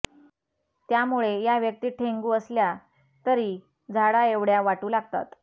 त्यामुळे या व्यक्ती ठेंगू असल्या तरी झाडाएवढ्या वाटू लागतात